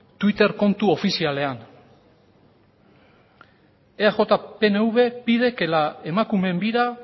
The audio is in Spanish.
twitter kontu ofizialean eaj pnv pide que la emakumeen bira